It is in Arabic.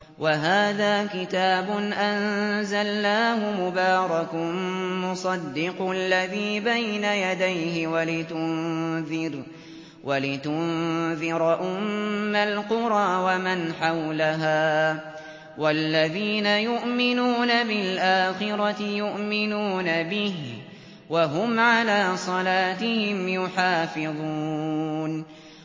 وَهَٰذَا كِتَابٌ أَنزَلْنَاهُ مُبَارَكٌ مُّصَدِّقُ الَّذِي بَيْنَ يَدَيْهِ وَلِتُنذِرَ أُمَّ الْقُرَىٰ وَمَنْ حَوْلَهَا ۚ وَالَّذِينَ يُؤْمِنُونَ بِالْآخِرَةِ يُؤْمِنُونَ بِهِ ۖ وَهُمْ عَلَىٰ صَلَاتِهِمْ يُحَافِظُونَ